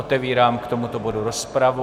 Otevírám k tomuto bodu rozpravu.